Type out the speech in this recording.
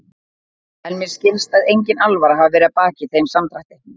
En mér skilst að engin alvara hafi verið að baki þeim samdrætti.